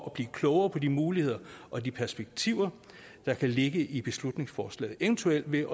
at blive klogere på de muligheder og de perspektiver der kan ligge i beslutningsforslaget eventuelt ved